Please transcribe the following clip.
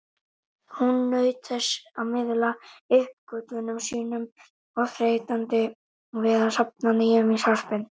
Hún naut þess að miðla uppgötvunum sínum, óþreytandi við að safna nýjum í sarpinn.